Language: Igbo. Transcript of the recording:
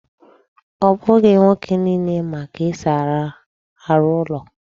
Ọ bụghị nwoke niile ma ka esi arụ ụlọ